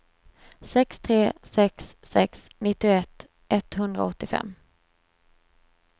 sex tre sex sex nittioett etthundraåttiofem